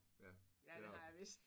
Ja det har du